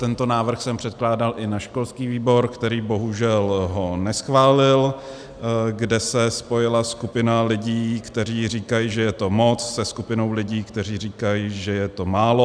Tento návrh jsem předkládal i na školský výbor, který bohužel ho neschválil, kde se spojila skupina lidí, kteří říkají, že je to moc, se skupinou lidí, kteří říkají, že je to málo.